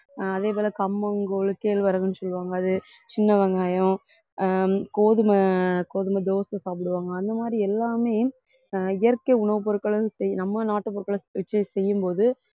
ஆஹ் அதே போல கம்பம் கூழு கேழ்வரகுன்னு சொல்லுவாங்க அது சின்ன வெங்காயம் ஆஹ் கோதுமை கோதுமை தோசை சாப்பிடுவாங்க அந்த மாதி ரி எல்லாமே ஆஹ் இயற்கை உணவுப் பொருட்களும் செய்~ நம்ம நாட்டு பொருட்கள வச்சு செய்யும்போது